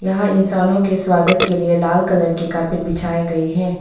वहां इंसानों के स्वागत के लिए लाल कलर की कारपेट बिछाए गए हैं।